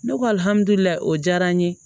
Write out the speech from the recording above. Ne ko alihamudulilayi o diyara n ye